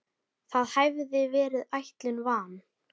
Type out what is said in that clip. Það hafði verið ætlun van